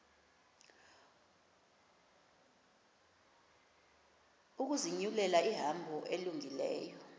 ukuzinyulela ihambo elungileyo